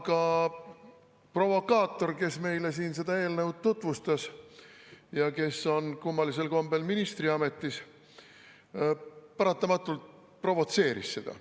Aga provokaator, kes meile siin seda eelnõu tutvustas ja kes on kummalisel kombel ministriametis, paratamatult provotseeris seda.